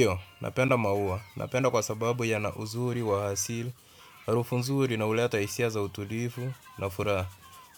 Ndiyo, napenda maua. Napenda kwa sababu ya na uzuri wa asili, harufu nzuri na huleta hisia za utulivu na furaha.